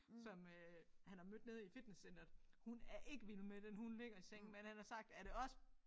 Som øh han har mødt nede i fitnesscentret hun er ikke vild med den hun ligger i sengen men han har sagt er det os